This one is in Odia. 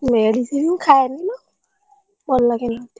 Medicine ଖାଏନିଲୋ